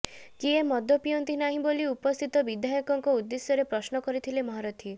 କିଏ ମଦ ପିଅନ୍ତି ନାହିଁ ବୋଲି ଉପସ୍ଥିତ ବିଧାୟକଙ୍କ ଉଦ୍ଦେଶ୍ୟରେ ପ୍ରଶ୍ନ କରିଥିଲେ ମହାରଥୀ